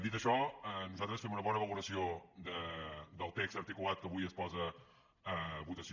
dit això nosaltres fem una bona valoració del text articulat que avui es posa a votació